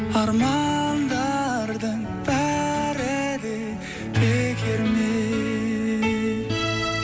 армандардың бәрі де бекер ме